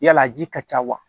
Yala a ji ka ca wa